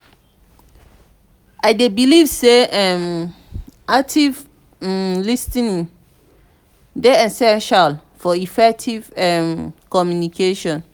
i dey believe say um active um lis ten ing dey essential for effective um communication.